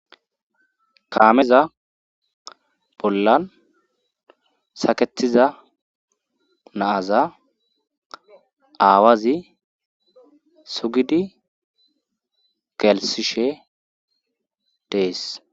Kaameza bollan saketiza naaza aawazi sugidi galisishe dees.